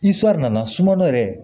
nana sunɔgɔ yɛrɛ